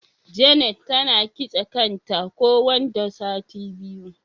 Janet tana kitse kan ta ko wanda sati biyu.